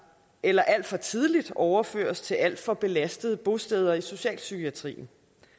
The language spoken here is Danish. eller alt for tidligt overføres til alt for belastede bosteder i socialpsykiatrien